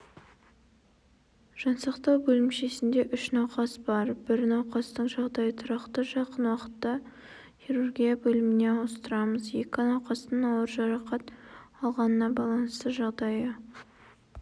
жансақтау бөлімшесінде үш науқас бар бір науқастың жағдайы тұрақты жақын уақытта хирургия бөліміне ауыстырамыз екі науқастың ауыр жарақат алғанына байланысты жағдайы